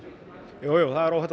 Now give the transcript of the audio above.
jújú það er óhætt að